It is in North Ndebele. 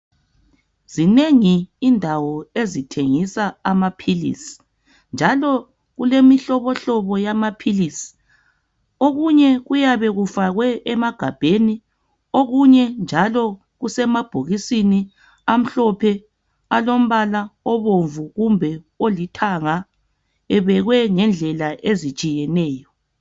Zinengi indawo ezithengisa amaphilisi njalo kulemihlobohlobo yamaphilisi okunye kuyabe kufakwe emagabheni okunye njalo kusemabhokisini amhlophe alombala obomvu kumbe olithanga ebekwe ngendlela ezitshiyeneyo